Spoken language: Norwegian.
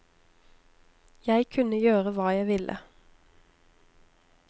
Jeg kunne gjøre hva jeg ville.